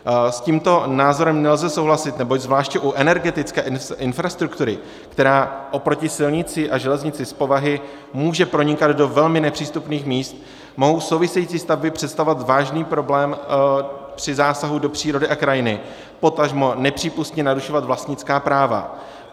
S tímto názorem nelze souhlasit, neboť zvláště u energetické infrastruktury, která oproti silnici a železnici z povahy může pronikat do velmi nepřístupných míst, mohou související stavby představovat vážný problém při zásahu do přírody a krajiny, potažmo nepřípustně narušovat vlastnická práva.